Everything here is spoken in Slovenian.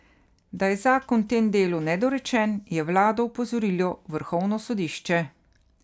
Da je zakon v tem delu nedorečen, je vlado opozorilo vrhovno sodišče.